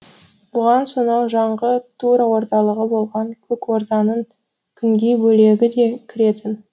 бұған сонау жаңғы тура орталығы болған көк орданың күнгей бөлегі де кіретін